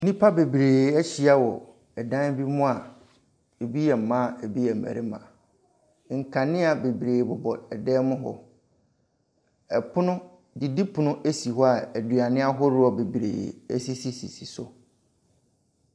Nnipa bebree ahyia wɔ dan bi mu a ebi yɛ mmaa, ebi yɛ mmarimma . Nkanea bebree bobɔ dan mu hɔ. Ɛpono didipono esi hɔ a aduane ahodoɔ bebree esisisisi so.